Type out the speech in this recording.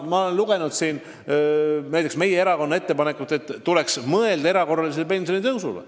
Ma olen lugenud meie erakonna ettepanekut, et tuleks mõelda erakorralisele pensionitõusule.